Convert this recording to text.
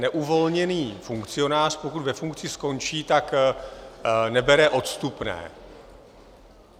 Neuvolněný funkcionář, pokud ve funkci skončí, tak nebere odstupné.